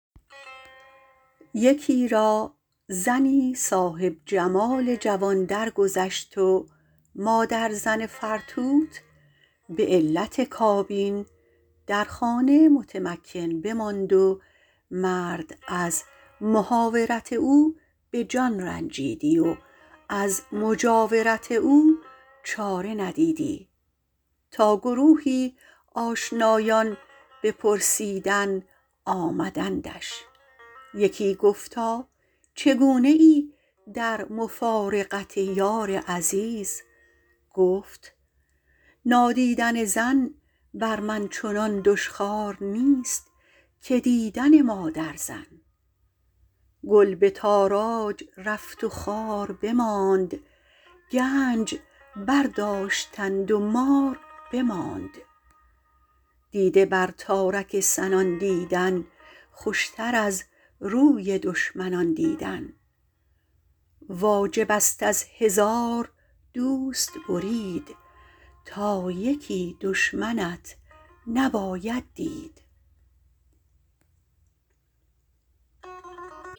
یکی را زنی صاحب جمال جوان درگذشت و مادرزن فرتوت به علت کابین در خانه متمکن بماند و مرد از محاورت او به جان رنجیدی و از مجاورت او چاره ندیدی تا گروهی آشنایان به پرسیدن آمدندش یکی گفتا چگونه ای در مفارقت یار عزیز گفت نادیدن زن بر من چنان دشخوار نیست که دیدن مادرزن گل به تاراج رفت و خار بماند گنج برداشتند و مار بماند دیده بر تارک سنان دیدن خوشتر از روی دشمنان دیدن واجب است از هزار دوست برید تا یکی دشمنت نباید دید